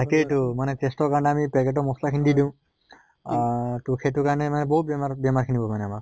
তাকে তো taste ৰ কাৰণে আমি packet ৰ মছলা খিনি দি দিওঁ, অহ তʼ সেইটোৰ কাৰণে আমাৰ বহুত বেমাৰ বেমাৰ খিনি হয় মানে আমাৰ